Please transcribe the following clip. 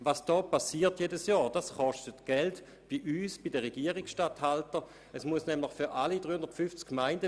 Was hier jedes Jahr passiert, kostet bei uns sowie bei den Regierungsstatthaltern Geld: